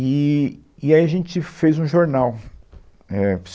Eee, e aí a gente fez um jornal. É...